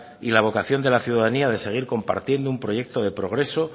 y la vocación de la ciudadanía de seguir compartiendo un proyecto de progreso